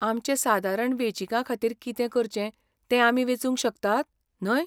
आमचे सादारण वेंचीकाखातीर कितें करचें तें आमी वेचूंक शकतात, न्हय?